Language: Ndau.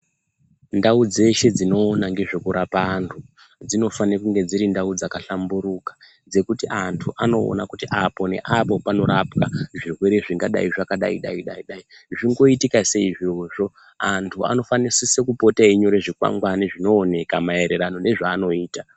Ndau dzeshe dzinoona ngezvekurapa antu, dzinofana kunge dziri ndau dzakahlamburuka dzekuti antu anoona kuti apo neapo panorapwa zvirwere zvingadai zvakadai dai dai zvingoitika seizvozvo antu anofanisise kupota einyora zvikwangwani zvinoonekwa maererano nezvanoita.